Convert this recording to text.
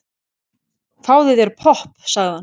Fáðu þér popp, sagði hann.